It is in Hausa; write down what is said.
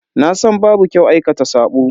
Nasan babu kyau aikata sabo.